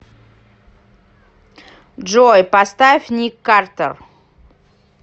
джой поставь ник картер